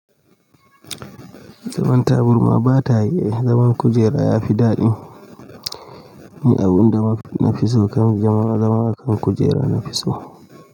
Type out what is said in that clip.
Zaman tabarma ba tayi, zaman kujera ya fi daɗi. Ni abun da na fi so kan, zama a kan kujera na fi so.